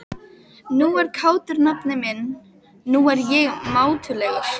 Nú er kátur nafni minn, nú er ég mátulegur.